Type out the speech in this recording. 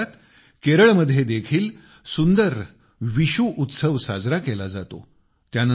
याच काळात केरळ देखील सुंदर विशु उत्सव साजरा करते